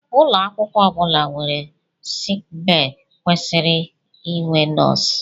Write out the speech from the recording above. Ụlọ akwụkwọ ọ bụla nwere sickbay kwesịrị inwe nọọsụ